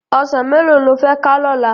Òsán méló ló fè ká lòlá?